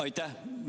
Aitäh!